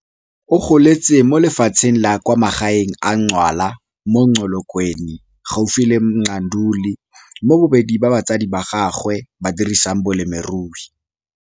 O goletse mo lefatsheng la kwa magaeng la Ngcwala mo Qokolweni gaufi le Mqanduli mo bobedi ba batsadi ba gagwe ba dirisang bolemirui.